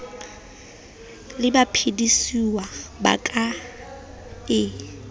le baphedisuwa ba ka e